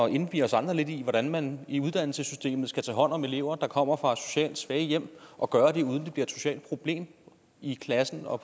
indvie os andre lidt i hvordan man i uddannelsessystemet skal tage hånd om elever der kommer fra socialt svage hjem og gøre det uden at det bliver et socialt problem i klassen og